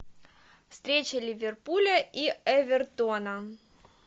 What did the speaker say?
встреча ливерпуля и эвертона